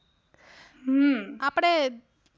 હમ